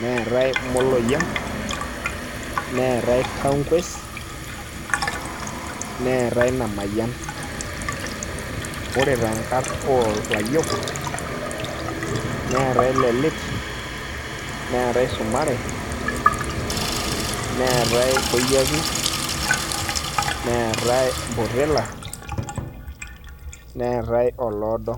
neetae Moloyian, neetae Tankues, neetae Namayian. Ore tenkarn olayiok, neetae Lelit, neetae Sumare, neetae Koyiaki, neetae Mpotela, neetae Oloodo.